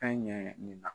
Fɛn ɲɛ nin na